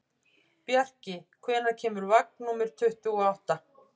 Bjarki, hvenær kemur vagn númer tuttugu og átta?